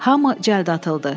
Hamı cəld atıldı.